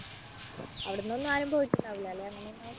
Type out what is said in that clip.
അവിടുന്നൊന്നും ആരും പോയിട്ടുണ്ടാവില്ല അല്ലേ അങ്ങനെയൊന്നും